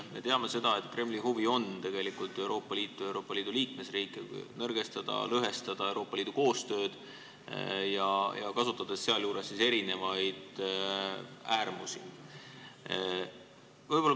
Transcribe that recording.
Me teame seda, et Kremli huvi on tegelikult nõrgestada Euroopa Liitu ja Euroopa Liidu liikmesriike, lõhestada Euroopa Liidu koostööd, kasutades sealjuures äärmusi.